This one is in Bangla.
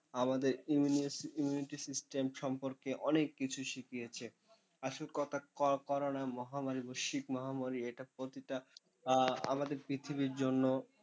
আমাদের immunity system সম্পর্কে অনেক কিছু শিখিয়েছে। আসল কথা করোনা মহামারী বা মহামারী এটা প্রতিটা আমাদের পৃথিবীর জন্য,